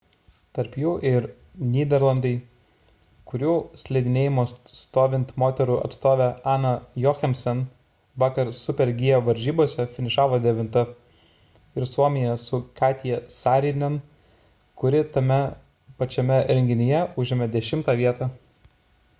tarp jų ir nyderlandai kurių slidinėjimo stovint moterų atstovė anna jochemsen vakar super-g varžybose finišavo devinta ir suomija su katja saarinen kuri tame pačiame renginyje užėmė dešimtą vietą